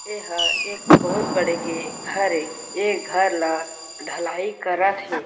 एह एक बहुत बड़े के घर हे ये घर ला ढलाई करत हे।